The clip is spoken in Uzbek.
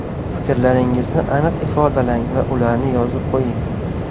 Fikrlaringizni aniq ifodalang va ularni yozib qo‘ying.